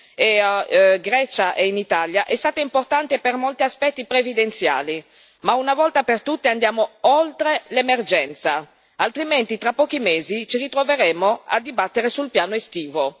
in Grecia e in Italia è stata importante per molti aspetti previdenziali, ma una volta per tutte andiamo oltre l'emergenza, altrimenti tra pochi mesi ci ritroveremo a dibattere sul piano estivo.